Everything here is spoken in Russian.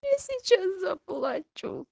я сейчас заплачу